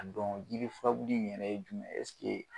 A don jirifurabulu in yɛrɛ ye jumɛn